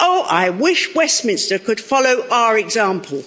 I wish Westminster could follow our example.